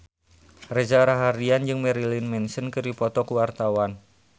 Reza Rahardian jeung Marilyn Manson keur dipoto ku wartawan